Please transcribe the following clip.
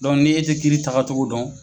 ni e tɛ kiiri tagacogo dɔn.